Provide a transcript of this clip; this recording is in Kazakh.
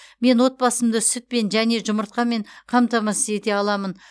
мен отбасымды сүтпен және жұмыртқамен қамтамасыз ете аламын